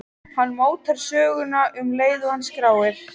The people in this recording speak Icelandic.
Hann mótar söguna um leið og hann skráir.